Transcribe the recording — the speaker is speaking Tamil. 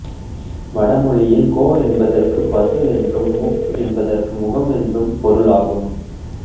வட மொழியில் கோ என்பதற்கு பசு என்றும் முக் என்பதற்கு முகம் என்றும் பொருளாகும்